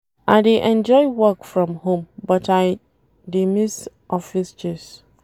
I dey enjoy work from home but I dey miss office gist.